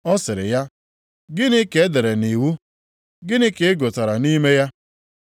Ọ sịrị ya, “Gịnị ka e dere nʼiwu? Gịnị ka ị gụtara nʼime ya?”